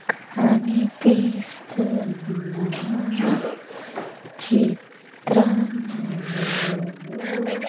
కనిపిస్తున్న చిత్రములో --